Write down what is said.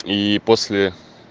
ии после